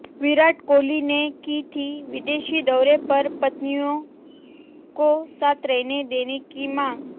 विराट कोहली ने की थी विदेशी दौरे पर पत्नियों को साथ रहने देने की मांग